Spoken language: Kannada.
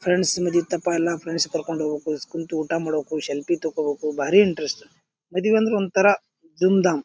ಫ್ರೆಂಡ್ಸ್ ಮದುವಿ ಇತ್ತಪ್ಪಾ ಎಲ್ಲಾ ಫ್ರೆಂಡ್ಸ್ ಕರ್ಕೊಂಡ್ ಹೋಗ್ಬೇಕು ಕುಂತು ಊಟ ಮಾಡ್ಬೇಕು ಸೆಲ್ಫಿ ತಕ್ಕೋಬೇಕು. ಭಾರಿ ಇಂಟ್ರೆಸ್ಟ್ ಮದುವಿ ಅಂದ್ರ ಒಂತರ ಧೂಮ್ ಧಾಮ್ .